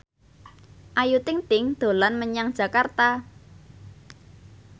Ayu Ting ting dolan menyang Jakarta